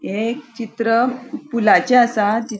हे एक चित्र पुलाचे आसा.